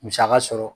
Musaka sɔrɔ